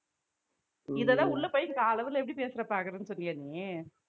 இதெல்லாம் உள்ள போய் கால் hour ல எப்படி பேசறேன் பாக்கறேன்னு சொன்னியா நீ